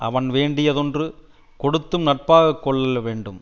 அவன் வேண்டிய தொன்று கொடுத்தும் நட்பாக கொள்ளல் வேண்டும்